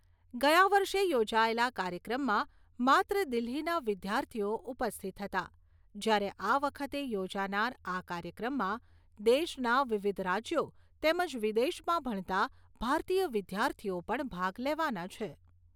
ગયા વર્ષે યોજાયેલા કાર્યક્રમમાં માત્ર દિલ્હીના વિદ્યાર્થીઓ ઉપસ્થિત હતા જ્યારે આ વખતે યોજનાર આ કાર્યક્રમમાં દેશના વિવિધ રાજ્યો તેમજ વિદેશમાં ભણતા ભારતીય વિદ્યાર્થીઓ પણ ભાગ લેવાના છે.